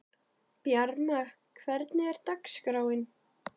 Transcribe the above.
Bjarma, hvernig er dagskráin?